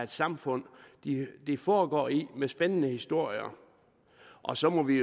samfund det foregår i med spændende historier og så må vi